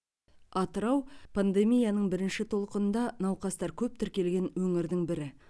атырау пандемияның бірінші толқынында науқастар көп тіркелген өңірдің бірі